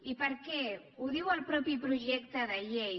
i per què ho diu el mateix projecte de llei